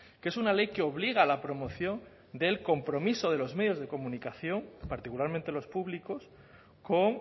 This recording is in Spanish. que es una ley que obliga a la promoción del compromiso de los medios de comunicación particularmente los públicos con